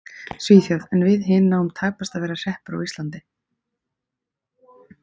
Svíþjóð en við hin náum tæpast að vera hreppur á Íslandi.